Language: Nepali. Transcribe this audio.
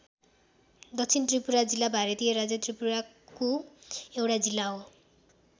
दक्षिण त्रिपुरा जिल्ला भारतीय राज्य त्रिपुराको एउटा जिल्ला हो।